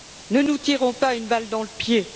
Ne nous tirons pas une balle dans le pied!